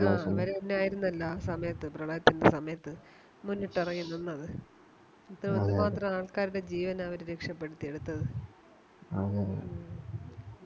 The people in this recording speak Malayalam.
ആ അവര് തന്നെയാരുന്നല്ലോ ആ സമയത്ത് പ്രളയത്തിൻറെ സമയത്ത് മുന്നിട്ടിറങ്ങി നിന്നത് എന്തു മാത്രം ആൾക്കാരുടെ ജീവന അവര് രക്ഷപ്പെടുത്തിയെടുത്തത് ഉം